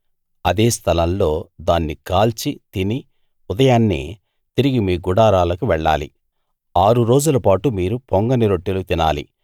అదే స్థలం లో దాన్ని కాల్చి తిని ఉదయాన్నే తిరిగి మీ గుడారాలకు వెళ్ళాలి ఆరు రోజులపాటు మీరు పొంగని రొట్టెలు తినాలి